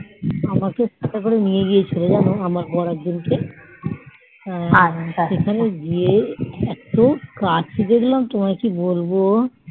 আমাকে কোথায় নিয়ে গিয়েছিলো যেন আমার বর একদিন কে সেখানে গিয়ে একটু আর কি দেখলাম তোমায় কি বলবো